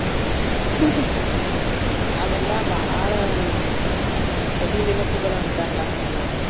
ಅವೆಲ್ಲಾ ಬಾಳ ಸವಿ ನೆನಪುಗಳ ಅಂತಾರಲ್ಲಾ ಹಂಗ.